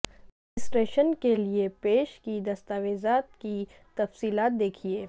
registration کے لئے پیش کی دستاویزات کی تفصیلات دیکھیں